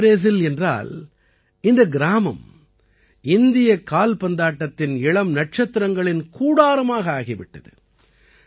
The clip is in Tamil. ஏன் மினி ப்ரேசில் என்றால் இந்தக் கிராமம் இந்தியக் கால்பந்தாட்டத்தின் இளம் நட்சத்திரங்களின் கூடாரமாக ஆகி விட்டது